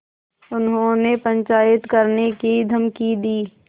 उन्होंने पंचायत करने की धमकी दी